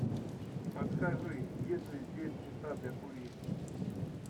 подскажи есть ли здесь места для курения